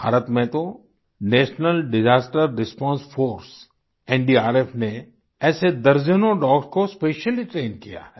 भारत में तो national disaster response force NDRF ने ऐसे दर्जनों डॉग्स को स्पेशली ट्रेन किया है